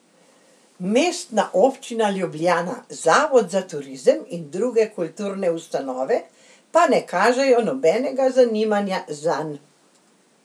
Mestna občina Ljubljana, Zavod za turizem in druge kulturne ustanove pa ne kažejo nobenega zanimanja zanj.